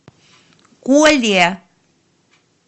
коле